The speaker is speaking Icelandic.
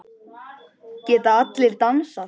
Geta allir dansað?